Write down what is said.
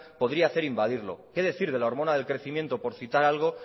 podría hacer invadirlo qué decir de la hormona del crecimiento por citar algo